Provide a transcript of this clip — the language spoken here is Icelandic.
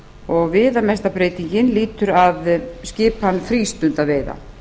og viðamesta breytingin lýtur að skipan frístundaveiða